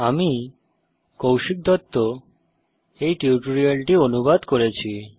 আমি কৌশিক দত্ত এই টিউটোরিয়ালটি অনুবাদ করেছি